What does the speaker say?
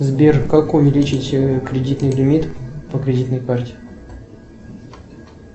сбер как увеличить кредитный лимит по кредитной карте